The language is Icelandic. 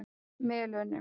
Melum